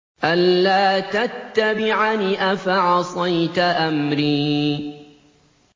أَلَّا تَتَّبِعَنِ ۖ أَفَعَصَيْتَ أَمْرِي